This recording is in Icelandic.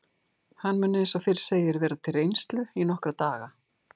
Hann mun eins og fyrr segir vera til reynslu í nokkra daga.